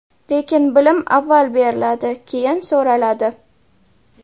Lekin bilim avval beriladi, keyin so‘raladi.